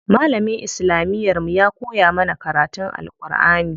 Malamin islamiyar mu ya koya mana karatun Alʼƙurʼani.